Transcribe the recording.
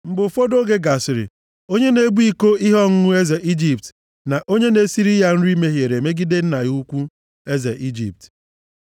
Mgbe ụfọdụ oge gasịrị, onye na-ebu iko ihe ọṅụṅụ eze Ijipt na onye na-esiri ya nri mehiere megide nna ha ukwu, eze Ijipt.